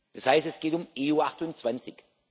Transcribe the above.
Das heißt, es geht um EU 28.